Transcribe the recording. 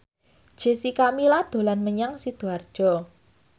Jessica Milla dolan menyang Sidoarjo